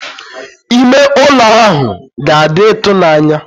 Ime ụlọ ahụ ga-adị ịtụnanya.